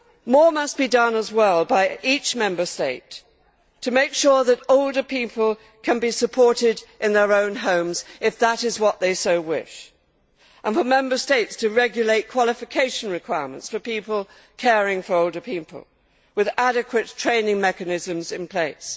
More must be done as well by each Member State to make sure that older people can be supported in their own homes if that is what they wish, and to regulate qualification requirements for people caring for older people, with adequate training mechanisms in place.